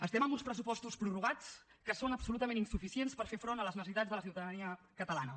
estem amb uns pressupostos prorrogats que són absolutament insuficients per fer front a les necessitats de la ciutadania catalana